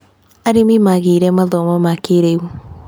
Arĩmi magĩire mathomo ma kĩrĩu.